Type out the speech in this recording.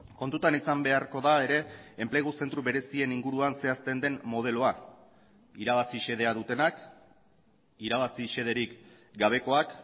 kontutan izan beharko da ere enplegu zentro berezien inguruan zehazten den modeloa irabazi xedea dutenak irabazi xederik gabekoak